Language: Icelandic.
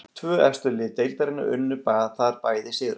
Tvö efstu lið deildarinnar unnu þar bæði sigra.